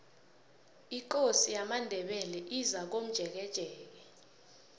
ikosi yamandebele izakomjekejeke